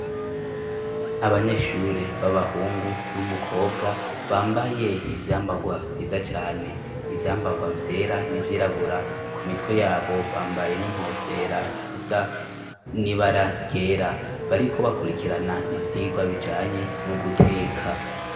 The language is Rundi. Abanyeshure babahungu n'umukobwa bambaye ivyambarwa vyiza cane ivyambarwa vyera nivyirabura ku mitwe yabo bambaye n'inkofera zisa ni baragera bariko bakurikirana ivyigwa bijanye n'uguteka.